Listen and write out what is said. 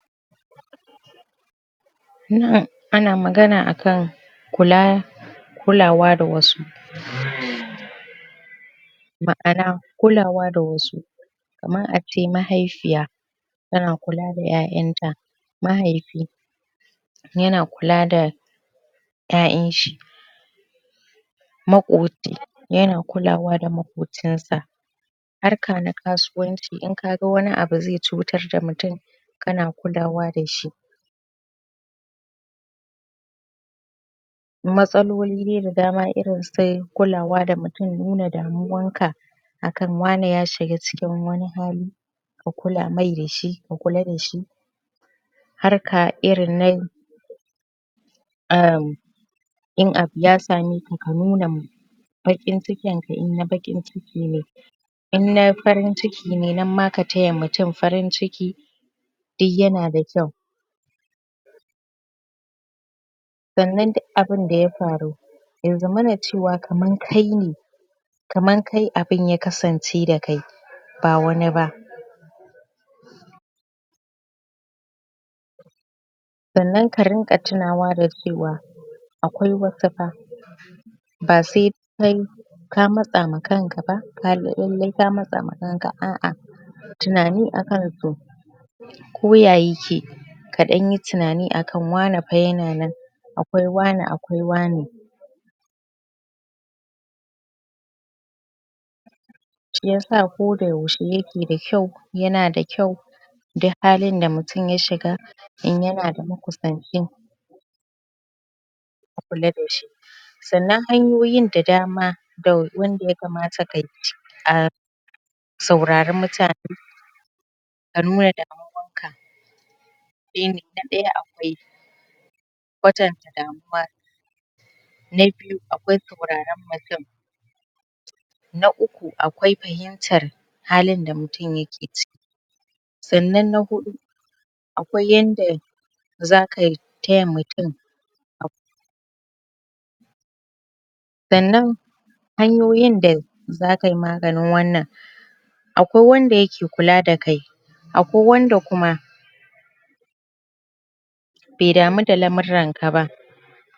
Nan ana magana akan kula kulawa da wasu Um ma'ana kulawa da wasu kaman ace mahaifiya tana da kula da 'ya'yan ta mahaifi yana kula da 'ya'yan shi makoci yana kulawa da makocin sa harka na kasuwanci in kaga wani abu zai cutar da mutun kana kulawa dashi matsaloli da dama irin su kulawa da mutun nuna damuwan ka a kan wani yashiga cikin wani hali ka kula mai dashi ka kula dashi harka irin na um in abu ya same ka ka nuna baƙin cikin ka eh na Baƙin ciki ne in na farin ciki ne nan ma ka taya mutum farin ciki duk yana da kyau sannan duk abun da ya faru ya zama cewa kaman kai ne kaman kai abun ya kasance da kai bawani ba sannan ka ringa tunawa da cewa akwai wasu fa ba sai ka matsa ma kanka ba lallai ka matsa ma kanka ba a'a kuyi tunani akan su ko ya yake ka dan yi tunani akan wane fa yana nan akwai wane akwai wane shiyasa ko da yaushe yake da kyau yana da kyau duk halin da mutum ya shiga in yana da makusanci a kula da shi sannan hanyoyin da dama wanda ya kamata kayi um saurari mutane ka nuna damuwan ka shine kadai akwai kwatanta damuwa na biyu akwai sauraren mutun na uku akwai fahimtar halin da mutum yake ciki sannan na hudu akwai yanda zaka taya mutun sannan hanyoyin da zakayi maganin wannan akwai wanda yake kula da kai akwai wanda kuma bai damu da lamuran ka ba